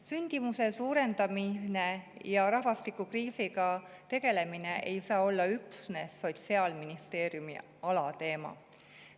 Sündimuse suurendamine ja rahvastikukriisiga tegelemine ei saa olla üksnes Sotsiaalministeeriumi alateema.